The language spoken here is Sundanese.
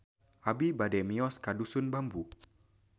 Abi bade mios ka Dusun Bambu